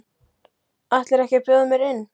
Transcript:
Ætlarðu ekki að bjóða mér inn?